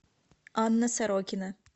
анна сорокина